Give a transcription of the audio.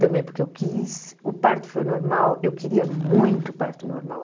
Também porque eu quis, o parto foi normal, eu queria muito parto normal.